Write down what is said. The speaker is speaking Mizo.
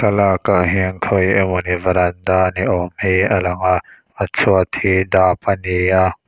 lak ah hian khawi emawni varanda ni awm hi a lang a a chhuat hi dap a ni a.